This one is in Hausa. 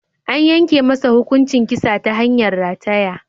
An yanke masa hukuncin kisa ta hanyar rataya.